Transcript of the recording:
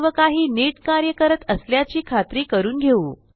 सर्व काही नीट कार्य करत असल्याची खात्री करून घेऊ